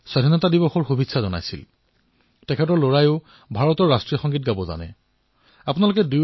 মোৰ মৰমৰ দেশবাসীসকল আমাৰ ইয়াত কোৱা হয় যে যি যিমানেই ভূমিৰ সংস্পৰ্শত থাকে সিমানেই সি ডাঙৰ ডাঙৰ ধুমুহাক বাধা দিবলৈ সক্ষম হয়